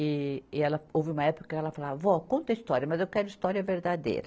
E, e ela, houve uma época que ela falava, vó, conta história, mas eu quero história verdadeira.